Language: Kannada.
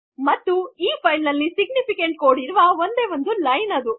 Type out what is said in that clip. ಮತ್ತು ಈ ಫೈಲ್ ನಲ್ಲಿ ಸಿಗ್ನಿಫಿಕೆಂಟ್ ಕೋಡ್ ಇರುವ ಒಂದೆ ಲೈನ್ ಅದು